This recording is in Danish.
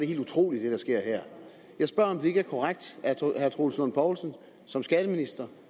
helt utroligt jeg spørger om det ikke er korrekt at herre troels lund poulsen som skatteminister